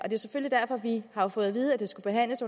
vi har jo fået at vide at det skal behandles